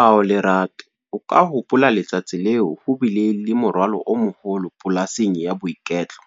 Ao Lerato, o ka hopola letsatsi leo ho bile le morwalo o moholo polasing ya boiketlo.